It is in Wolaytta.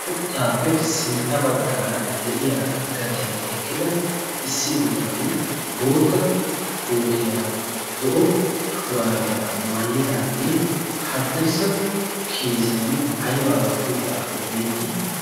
Uuttaappe sintta baggaara deiya gadiyan eqqida issi bitanee bootta kootiyaa zo'o shuraabiyaa maayidaagee haddirssa kiisiyan aibaa wotti uttaakko beettii?